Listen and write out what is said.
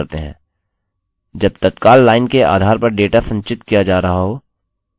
जब तत्काल लाइन के आधार पर डेटा संचित किया जा रहा हो